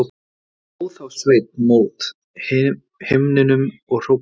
Hló þá Sveinn mót himninum og hrópaði